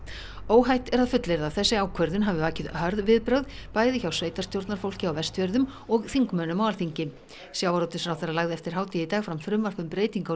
óhætt er að fullyrða að þessi ákvörðun hafi vakið hörð viðbrögð bæði hjá sveitarstjórnarfólki á Vestfjörðum og þingmönnum á Alþingi sjávarútvegsráðherra lagði eftir hádegi í dag fram frumvarp um breytingu